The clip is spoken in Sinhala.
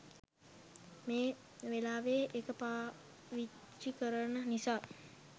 මේ වෙලාවෙ එක පාවිච්චි කරන නිසා.